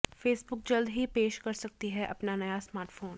Facebook जल्द ही पेश कर सकती है अपना नया स्मार्टफोन